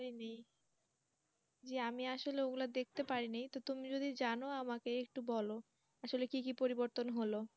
জি আমি আসলে অগুলা দেখতে পারিনি। তো তুমি যদি জানো আমাকে একটু বলও আসলে কি কি পরিবর্তন হল।